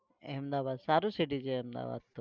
अहमदाबाद સારું city છે अहमदाबाद.